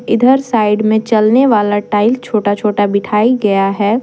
इधर साइड में चलने वाला टाइल छोटा छोटा बिठाई गया है।